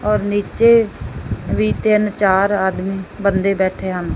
ਔਰ ਨੀਚੇ ਵੀ ਤਿੰਨ ਚਾਰ ਆਦਮੀ ਬੰਦੇ ਬੈਠੇ ਹਨ।